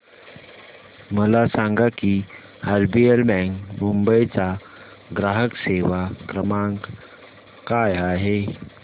मला सांगा की आरबीएल बँक मुंबई चा ग्राहक सेवा क्रमांक काय आहे